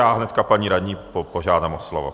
Já hned paní radní požádám o slovo.